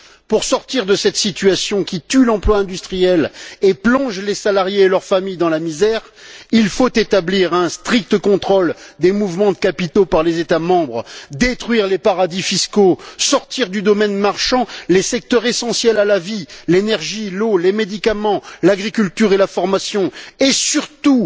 Pour sortir de cette situation qui tue l'emploi industriel et plonge les salariés et leurs familles dans la misère, il faut établir un strict contrôle des mouvements de capitaux par les États membres, détruire les paradis fiscaux, sortir du domaine marchand les secteurs essentiels à la vie l'énergie, l'eau, les médicaments, l'agriculture et la formation et surtout,